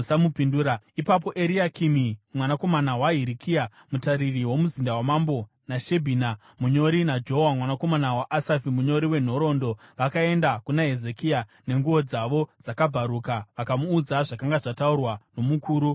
Ipapo Eriakimi mwanakomana waHirikia mutariri womuzinda wamambo, naShebhina munyori naJoa mwanakomana waAsafi munyori wenhoroondo vakaenda kuna Hezekia, nenguo dzavo dzakabvaruka, vakamuudza zvakanga zvataurwa nomukuru wavarwi.